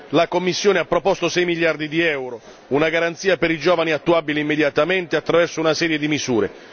La Commissione ha proposto sei miliardi di euro, una garanzia per i giovani attuabile immediatamente attraverso una serie di misure.